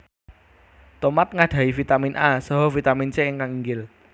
Tomat nggadhahi Vitamin A saha Vitamin C ingkang inggil